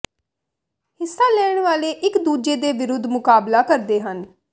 ਹਿੱਸਾ ਲੈਣ ਵਾਲੇ ਇੱਕ ਦੂਜੇ ਦੇ ਵਿਰੁੱਧ ਮੁਕਾਬਲਾ ਕਰਦੇ ਹਨ